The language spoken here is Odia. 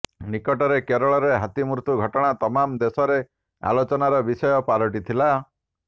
ନିକଟରେ କେରଳରେ ହାତୀ ମୃତ୍ୟୁ ଘଟଣା ତମାମ ଦେଶରେ ଆଲୋଚନାର ବିଷୟ ପାଲଟିଥିଲା